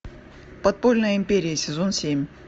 подпольная империя сезон семь